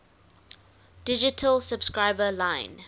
digital subscriber line